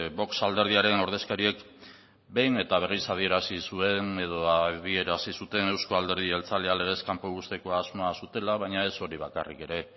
vox alderdiaren ordezkariek behin eta berriz adierazi zuen edo adierazi zuten euzko alderdi jeltzalea legez kanpo uzteko asmoa zutela baina ez hori bakarrik ere